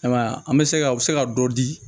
Ayiwa an bɛ se ka a bɛ se ka dɔ di